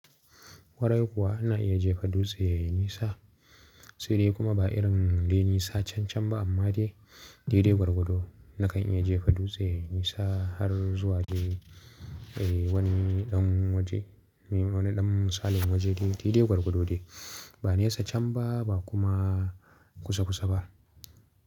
Wari kuwa ana iya jefa dutse yayi nisa sai dai kuma ba irin de nisa cancan ba amma dai dede gwargwado. Nakan iya jefa dutse yayi nisa har zuwa dai wani ɗan waje, wani ɗan misalin waje dai dede gwargwado dai. Ba nisa can ba, ba kuma kusa kusa ba.